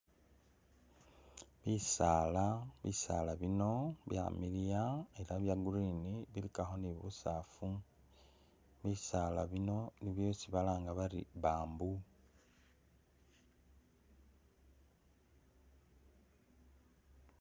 Bisaala, bisaala bino byamiliya ela bya green bilikakho ni busafu, bisala bino nibyo byesi balanga bari bamboo.